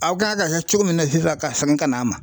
Aw kan ka kɛ cogo min na sisan ka segin ka na an ma